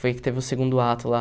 Foi que teve o segundo ato lá.